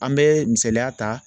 An bɛ misaliya ta